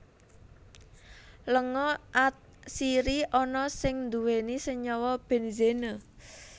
Lenga atsiri ana sing nduwèni Senyawa Benzene